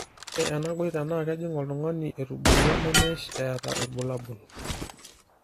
ore ena goiter naa kejing oltungani etubulua nemesh eeta irbulabol